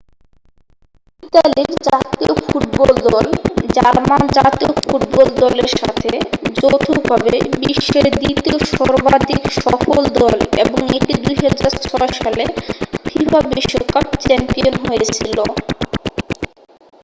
ইতালির জাতীয় ফুটবল দল জার্মান জাতীয় ফুটবল দলের সাথে যৌথভাবে বিশ্বের দ্বিতীয় সর্বাধিক সফল দল এবং এটি 2006 সালে ফিফা বিশ্বকাপ চ্যাম্পিয়ন হয়েছিল